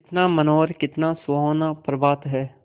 कितना मनोहर कितना सुहावना प्रभात है